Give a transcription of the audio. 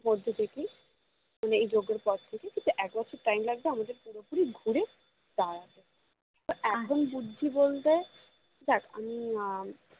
মধ্যে থেকেই মানে এই যজ্ঞের পর থেকেই কিন্তু একবছর time লাগবে আমাদের পুরোপুরি ঘুরে দাঁড়াতে তো এখন বুঝছি বলতে দেখ আমি আহ